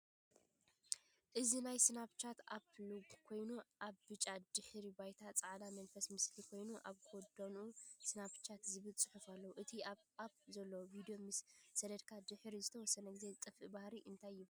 እዚ ናይ ስናፕቻት ኣፕ ሎጎ ኮይኑ፡ ኣብ ብጫ ድሕረ ባይታ ጻዕዳ መንፈስ ምስሊ ኮይኑ ኣብ ጎድኑ "ስናፕቻት" ዝብል ጽሑፍ ኣለዎ። እቲ ኣብቲ ኣፕ ዘሎ ቪድዮ ምስ ሰደድካ ድሕሪ ዝተወሰነ ግዜ ዝጠፍእ ባህሪ እንታይ ይበሃል?